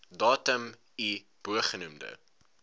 datum i bogenoemde